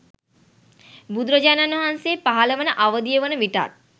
බුදුරජාණන් වහන්සේ පහළවන අවධිය වන විටත්